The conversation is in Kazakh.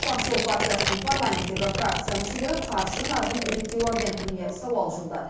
ақжол партиясының парламенттегі фракция мүшелері қаржы нарығын реттеу агенттігіне сауал жолдады